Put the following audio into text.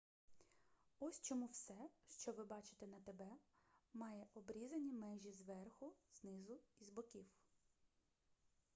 ось чому все що ви бачите на тб має обрізані межі зверху знизу і з боків